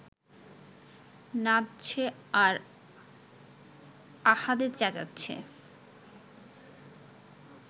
নাচছে আর আহাদে চেঁচাচ্ছে